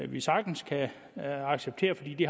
vi sagtens kan acceptere fordi de